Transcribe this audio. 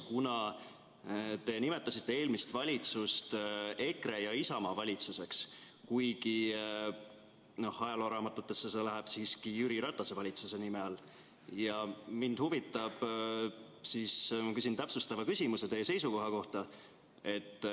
Kuna te nimetasite eelmist valitsust EKRE ja Isamaa valitsuseks, kuigi ajalooraamatutesse läheb see siiski Jüri Ratase valitsuse nime all, siis küsin täpsustava küsimuse teie seisukoha kohta.